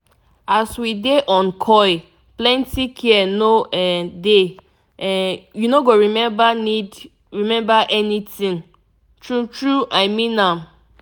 as we dey on coil plenty care no um dey um u no go remember need remember anything. true true i mean am